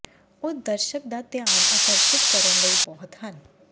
ਉਹ ਦਰਸ਼ਕ ਦਾ ਧਿਆਨ ਆਕਰਸ਼ਿਤ ਕਰਨ ਲਈ ਬਹੁਤ ਹਨ